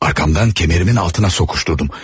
Arxamdan kəmərimin altına soxuşdurdum.